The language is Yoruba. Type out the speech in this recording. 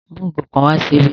Mú igò kan wà síbí!